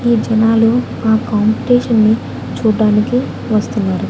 ఈ జనాలు ఆ కాంపిటీషన్ ని చూడ్డానికి వస్తున్నారు.